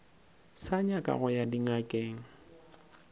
sa nyaka go ya dingakeng